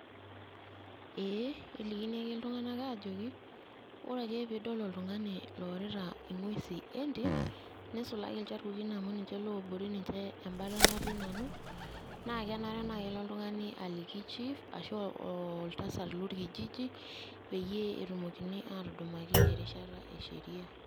Eee kelikini ake iltung'anak aajoki ore ake peeidol oltung'ani oorita ing'wesin entim neisulaki ilcharkukin amu ninche ootie inashoto naing'uaa nanu naa kenare nelo oltung'ani aliku chief ashuu oltasat lorkijiji pee etumokini aatudumaki erishata esheria.